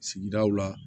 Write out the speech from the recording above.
Sigidaw la